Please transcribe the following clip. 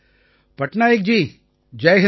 Patnaik ji Jai Hind